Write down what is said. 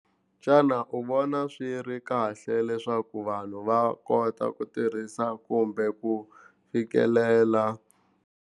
Xana u vona swi ri kahle leswaku vanhu va kota ku tirhisa kumbe ku fikelela.